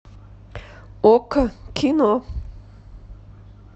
окко кино